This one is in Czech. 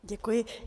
Děkuji.